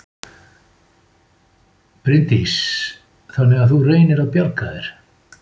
Bryndís: Þannig að þú reynir að bjarga þér?